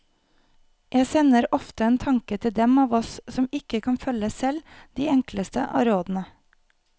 Jeg sender ofte en tanke til dem av oss som ikke kan følge selv de enkleste av rådene.